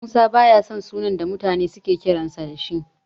Musa baya son sunan da mutane suke kiransa da shi.